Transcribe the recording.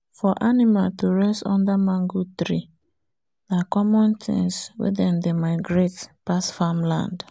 for animal to rest under mango tree na common things wen them dey migrate pass farmland